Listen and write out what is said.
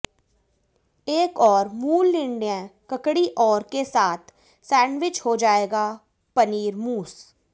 एक और मूल निर्णय ककड़ी और के साथ सैंडविच हो जाएगा पनीर मूस